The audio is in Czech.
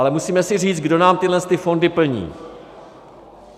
Ale musíme si říct, kdo nám tyhle fondy plní.